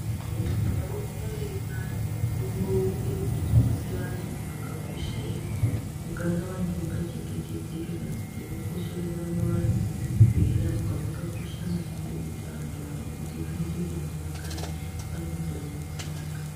Vantu vanohamba veipa antu mitombo uye kudzidzise antu zvakakoshere kugara vantu vakachengetedzeka kana kuti zvakakoshere kuramba vantu veirapwa vakakosha maningi ngekuti antu aya vanoita kuti vantu vagare vane utano hwakanaka